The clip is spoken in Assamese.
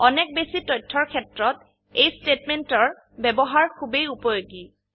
অনেক বেশি তথ্যৰ ক্ষেত্ৰত এই স্তেটমেন্টৰ ব্যবহাৰ খুবেই উপযোগী